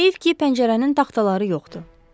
Heyf ki, pəncərənin taxtaları yoxdur.